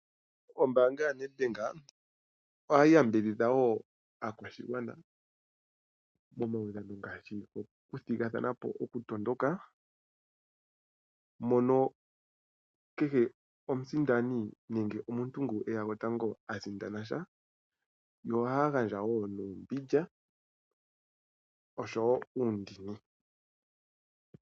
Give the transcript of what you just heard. Ombaanga yaNED BANK ohayi yambidhidha wo aakwashigwana momaudhano ngaashi gokuthigathana po mokutondoka mono kehe omusindani nenge omuntu ngu eta gwotango ha sindana dha, yo ihaya gandja wo nuumbindja oshowo uundini.